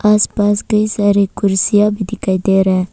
आस पास कई सारे कुर्सियां भी दिखाई दे रहा--